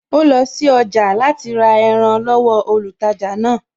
Ó lọ sí ọjà jẹ́ láti ra ẹran lọ́wọ olùtajà náà